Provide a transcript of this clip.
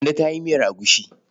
Kande ta yi miyar agushi.